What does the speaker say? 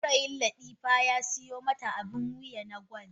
Saurayin latifa ya siyo mata abin wuya na gwal.